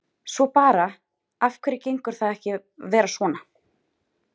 Svo bara, af hverju gengur það ekki að vera svona?